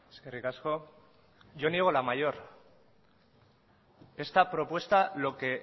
eskerrik asko yo niego la mayor esta propuesta lo que